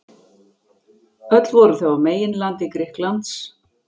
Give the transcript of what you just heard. Öll voru þau á meginlandi Grikklands.